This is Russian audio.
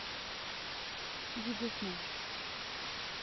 диджей смэш